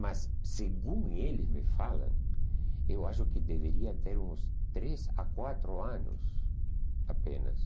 Mas, segundo eles me falam, eu acho que deveria ter uns três a quatro anos apenas.